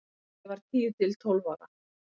Ég var tíu til tólf ára.